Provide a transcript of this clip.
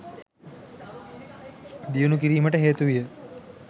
දියුණූ කිරීමට හේතුවිය.